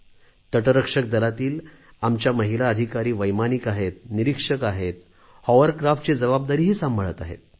तटरक्षक दलातील आमच्या महिला अधिकारी वैमानिक आहेत निरीक्षक आहेत हॉवरक्राफ्टची जबाबदारीही सांभाळत आहेत